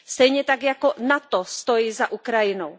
Stejně tak jako NATO stojí za Ukrajinou.